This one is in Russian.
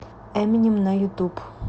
эминем на ютуб